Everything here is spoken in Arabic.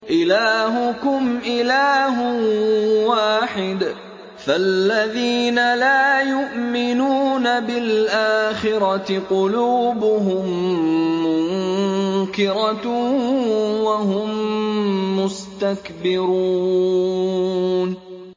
إِلَٰهُكُمْ إِلَٰهٌ وَاحِدٌ ۚ فَالَّذِينَ لَا يُؤْمِنُونَ بِالْآخِرَةِ قُلُوبُهُم مُّنكِرَةٌ وَهُم مُّسْتَكْبِرُونَ